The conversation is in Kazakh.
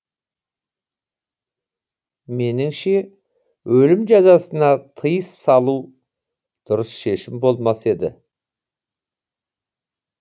меніңше өлім жазасына тыйыс салу дұрыс шешім болмас еді